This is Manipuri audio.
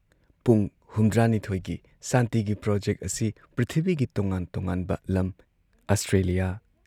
ꯄꯨꯡ ꯍꯨꯝꯗ꯭ꯔꯥꯅꯤꯊꯣꯏꯒꯤ ꯁꯥꯟꯇꯤꯒꯤ ꯄ꯭ꯔꯣꯖꯦꯛ ꯑꯁꯤ ꯄ꯭ꯔꯤꯊꯤꯕꯤꯒꯤ ꯇꯣꯉꯥꯟ ꯇꯣꯉꯥꯟꯕ ꯂꯝ ꯑꯁꯇ꯭ꯔꯦꯂꯤꯌꯥ,